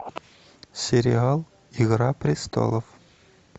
сериал игра престолов